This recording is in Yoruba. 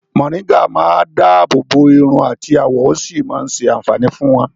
̀Mòrígà máa dábòbò iru àti àwọ̀ ó sì máa ṣé àǹfàní fún wọ́n.